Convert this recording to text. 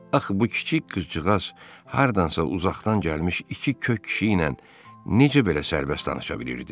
Axı bu kiçik qızcıqaz hardansa uzaqdan gəlmiş iki kök kişi ilə necə belə sərbəst danışa bilirdi?